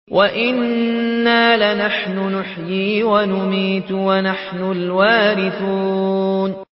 وَإِنَّا لَنَحْنُ نُحْيِي وَنُمِيتُ وَنَحْنُ الْوَارِثُونَ